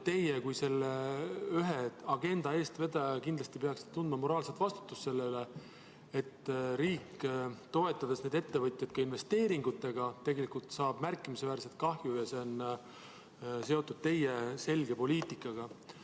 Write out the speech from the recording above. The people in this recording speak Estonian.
Teie kui selle agenda üks eestvedajaid peaksite kindlasti tundma moraalset vastutust selle eest, et riik, toetades neid ettevõtjaid ka investeeringutega, saab märkimisväärset kahju ja see on seotud teie selge poliitikaga.